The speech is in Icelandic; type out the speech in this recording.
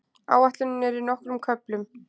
Áætlunin er í nokkrum köflum.